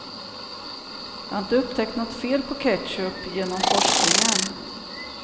Jag har inte upptäckt något fel på ketchup genom forskningen.